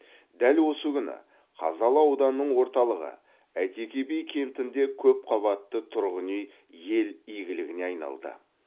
дәл осы күні қазалы ауданының орталығы әйтеке би кентінде көпқабатты тұрғын үй ел игілігіне айналды